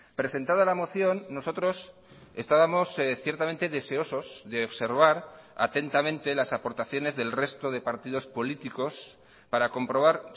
presentada la moción nosotros estábamos ciertamente deseosos de observar atentamente las aportaciones del resto de partidos políticos para comprobar